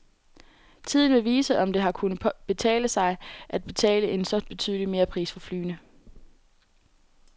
Tiden vil vise, om det har kunnet betale sig at betale en så betydelig merpris for flyene.